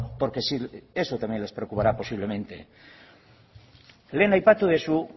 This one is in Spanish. porque sí porque eso también les preocupara posiblemente lehen aipatu duzu